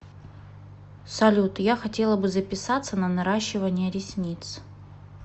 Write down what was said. салют я хотела бы записаться на наращивание ресниц